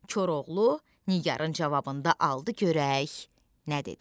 Koroğlu Nigarın cavabında aldı görək nə dedi.